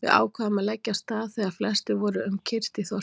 Við ákváðum að leggja af stað þegar flestir voru um kyrrt í þorpinu.